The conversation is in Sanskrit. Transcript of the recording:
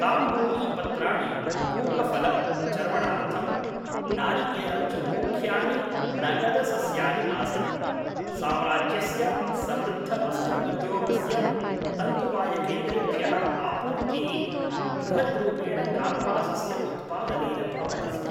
ताम्बूली पत्राणि, पूगफलं चर्वणार्थं, नारिकेलं च मुख्यानि नगदसस्यानि आसन्, साम्राज्यस्य समृद्धवस्त्र-उद्योगस्य तन्तुवायकेन्द्रेभ्यः आपूर्तिः बृहद्रूपेण कार्पासस्य उत्पादनेन भवति स्म।